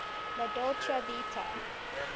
la dolce vita